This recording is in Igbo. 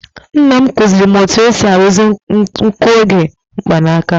Nna m kụziiri m otú e si arụzi nguoge mgbanaka.